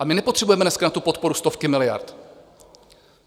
A my nepotřebujeme dneska na tu podporu stovky miliard.